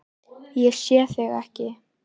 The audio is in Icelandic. Ég sé þig ekki.